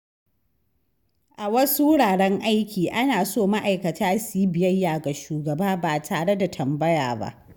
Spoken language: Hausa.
A wasu wuraren aikin, ana so ma’aikata su yi biyayya ga shugaba ba tare da tambaya ba.